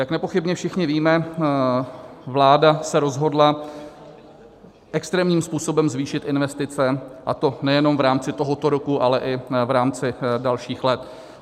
Jak nepochybně všichni víme, vláda se rozhodla extrémním způsobem zvýšit investice, a to nejenom v rámci tohoto roku, ale i v rámci dalších let.